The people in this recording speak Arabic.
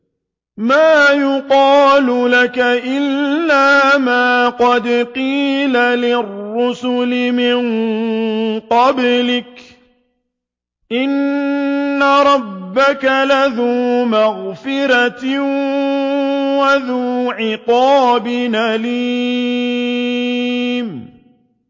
مَّا يُقَالُ لَكَ إِلَّا مَا قَدْ قِيلَ لِلرُّسُلِ مِن قَبْلِكَ ۚ إِنَّ رَبَّكَ لَذُو مَغْفِرَةٍ وَذُو عِقَابٍ أَلِيمٍ